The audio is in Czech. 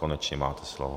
Konečně máte slovo.